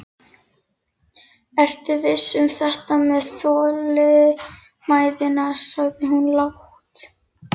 Ertu viss um þetta með þolinmæðina, sagði hún lágt.